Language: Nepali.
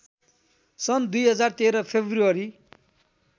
सन् २०१३ फेब्रुअरी